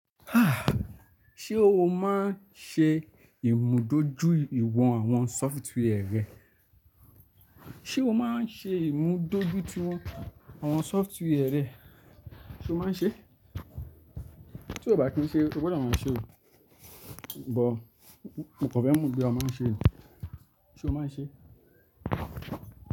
Ṣe o máa ń ṣe ìmúdójúìwọ̀n àwọn software rẹ? Ṣe o máa ń ṣe ìmúdójúìwọ̀n àwọn software rẹ? Ṣe o máa ń ṣe? Tí o kò bá kí ń ṣe, o gbọ́dọ̀ máa ṣe ò. Bọ̀, mo kàn fẹ́ mò bóyá o máa ń ṣe ò. Ṣe o máa ń ṣe?